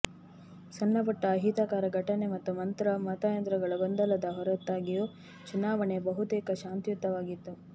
ಸಣ್ಣಪುಟ್ಟ ಅಹಿತಕರ ಘಟನೆ ಮತ್ತು ಮತಯಂತ್ರಗಳ ಗೊಂದಲದ ಹೊರತಾಗಿಯೂ ಚುನಾವಣೆ ಬಹುತೇಕ ಶಾಂತಿಯುತವಾಗಿತ್ತು